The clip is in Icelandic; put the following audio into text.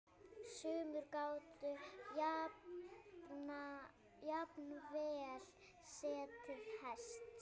Sumir gátu jafnvel setið hest.